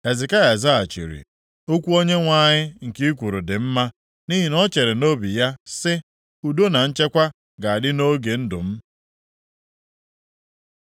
Hezekaya zaghachiri, “Okwu Onyenwe anyị nke i kwuru dị mma.” Nʼihi na o chere nʼobi ya sị, “Udo na nchekwa ga-adị nʼoge ndụ m.”